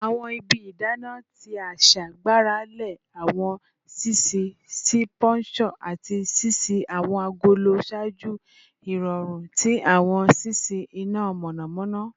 Awọn ibi idana ti aṣa gbarale awọn ṣiṣii si puncture ati ṣiṣi awọn agolo ṣaaju irọrun ti awọn ṣiṣi ina mọnamọna